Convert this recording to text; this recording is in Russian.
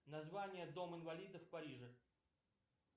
название дом инвалидов в париже